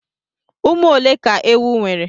Ụmụ ole ka ewu nwere?